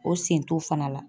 O sen t'o fana la.